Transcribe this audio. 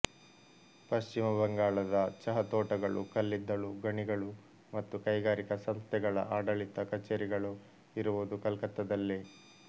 ಪಶ್ಚಿಮ ಬಂಗಾಳದ ಚಹತೋಟಗಳು ಕಲ್ಲಿದ್ದಲು ಗಣಿಗಳು ಮತ್ತು ಕೈಗಾರಿಕಾ ಸಂಸ್ಥೆಗಳ ಆಡಳಿತ ಕಚೇರಿಗಳು ಇರುವುದು ಕಲ್ಕತ್ತದಲ್ಲೇ